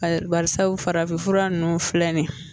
Barisabu farafinfura nunnu filɛ nin ye